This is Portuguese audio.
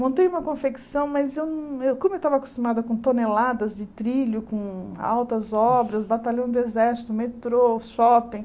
Montei uma confecção, mas eu nã eu como eu estava acostumada com toneladas de trilho, com altas obras, batalhão do exército, metrô, shopping...